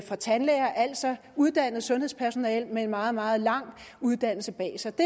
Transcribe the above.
og tandlæger altså uddannet sundhedspersonale med en meget meget lang uddannelse bag sig det